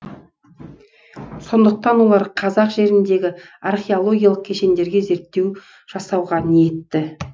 сондықтан олар қазақ жеріндегі археологиялық кешендерге зерттеу жасауға ниетті